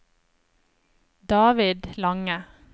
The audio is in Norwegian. David Lange